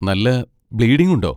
നല്ല ബ്ലീഡിങ് ഉണ്ടോ?